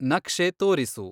ನಕ್ಷೆ ತೋರಿಸು